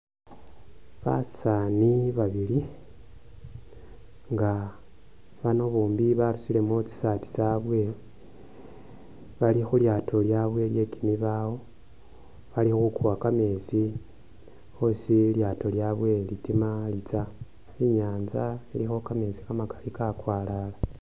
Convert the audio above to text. Basaani babili nga bano bombi barusilemu tsi saati tsabwe bali khu lyaato lyabwe lye kimibawo, bali khukuwa kameetsi hosi lilyaato lyabwe litigation litsya. I'nyaanza ilikho kameetsi kamakali kakwalala.